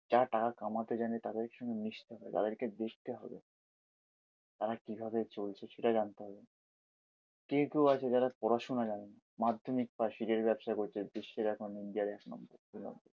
যারা টাকা কমাতে জানে তাদের সঙ্গে মিশতে হবে, তাদেরকে হবে। তারা কিভাবে চলছে সেটা জানতে হবে। কেউ কেউ আছে যারা পড়াশুনা জানেনা মাধ্যমিক পাশ হীরের ব্যবসা করছে। দেশের এখন ইন্ডিয়ার এক নম্বর